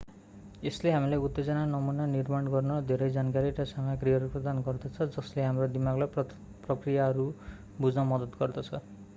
यसले हामीलाई उत्तेजना नमूना निर्माण गर्न धेरै जानकारी र सामग्रीहरू प्रदान गर्दछ जसले हाम्रो दिमागलाई प्रक्रियाहरू बुझ्न मद्दत गर्दछ